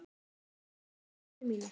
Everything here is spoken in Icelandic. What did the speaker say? Sáuð þið hana systur mína.